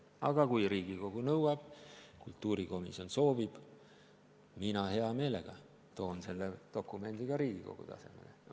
Aga kui Riigikogu nõuab, kultuurikomisjon soovib, mina hea meelega toon selle dokumendi ka Riigikogu tasemele.